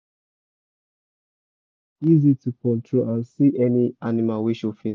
easy to control and see any animal wey show face